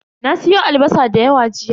Na siyo albasa da yawa jiya.